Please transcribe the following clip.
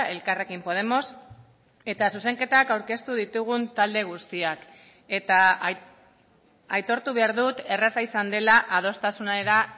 elkarrekin podemos eta zuzenketak aurkeztu ditugun talde guztiak eta aitortu behar dut erraza izan dela adostasunera